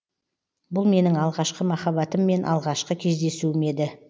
бұл менің алғашқы махаббатыммен алғашқы кездесуім еді